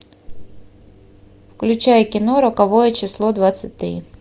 включай кино роковое число двадцать три